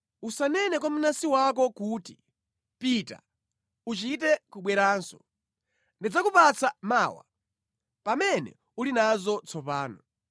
Usanene kwa mnansi wako kuti, “Pita, uchite kubweranso. Ndidzakupatsa mawa” pamene uli nazo tsopano.